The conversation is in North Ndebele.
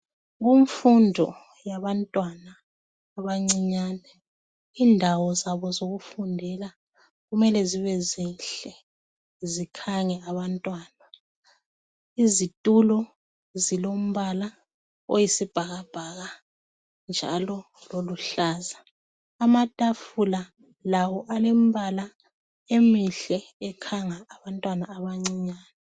Kumfundo yabantwana abancinyane indawo zabo zokufundela kumele zibe zinhle zikhange abantwana. Izitulo zilombala oyisibhakabhaka njalo loluhlaza. Amatafula lawo alemibala emihle ekhanga abantwana abancinyane.